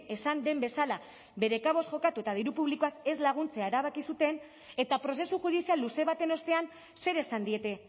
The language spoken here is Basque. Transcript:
esan den bezala bere kabuz jokatu eta diru publikoaz ez laguntzea erabaki zuten eta prozesu judizial luze baten ostean zer esan diete